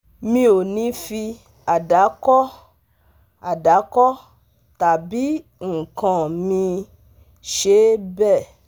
mi ò ní fi àdàkọ àdàkọ tàbí nǹkan míì ṣe bẹ́ẹ̀